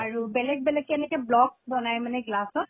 আৰু দেলেগ বেলেগ এনেকে blocks বনায় মানে glass ত